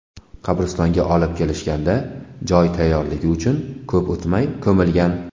Qabristonga olib kelishganda joy tayyorligi uchun ko‘p o‘tmay ko‘milgan.